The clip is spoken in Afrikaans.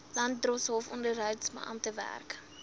landdroshof onderhoudsbeamptes werk